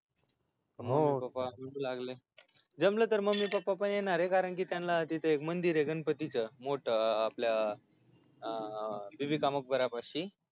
हो जमल तर मम्मी पप्पा पण येणारय कारण की त्यांना तिथ एक मंदिरय गणपतीच आपल अं बीबी का मकबरापाशी